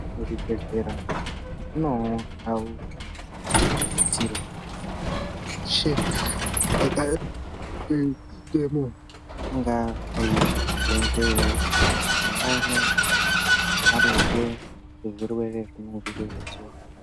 Muzvibhehlera munewo ndau dzinosisirwa kuzi anhu eshe angapindemwo inga eizoindeyiwo kuti aone maringe ngezvirwere zvinee zviriyo mauva akona. zingewo